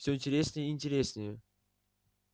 все интереснее и интереснее